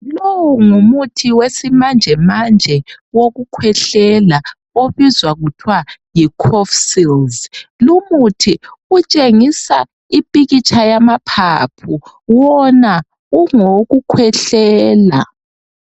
Lowu ngumuthi wesimanjemanje wokukhwehlela obizwa kuthwa yi cofsils lumuthi utshengisa ipikitsha yamaphaphu wona ungowokukhwehlela.